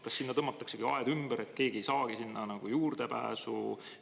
Kas sinna tõmmatakse aed ümber, et keegi ei saagi sinna juurdepääsu?